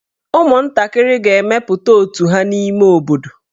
Ụmụntakịrị ga-emepụta otù ha n'ime obodo.